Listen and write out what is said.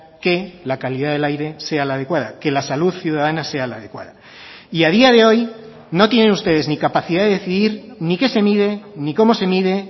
que la calidad del aire sea la adecuada que la salud ciudadana sea la adecuada y a día de hoy no tienen ustedes ni capacidad de decidir ni qué se mide ni cómo se mide